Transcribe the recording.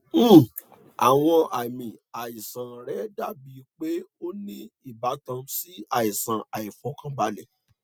um awọn aami aisan rẹ dabi pe o ni ibatan si aisan aifọkanbalẹ